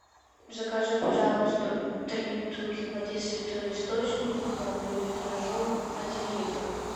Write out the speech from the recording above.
закажи пожалуйста три бутылки воды святой источник миллиметражом один литр